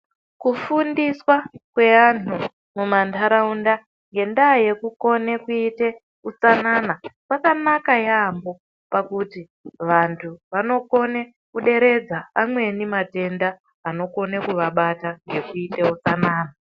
Kufundiswa kweanhu mumantharaunda ngendaa yekukone kuiite utsanana kwakanaka yaampho pakuti vanthu vanokone kuderedza amweni matenda anokone kuvabata ngekuiite utsanana.